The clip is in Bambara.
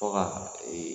Fɔ ka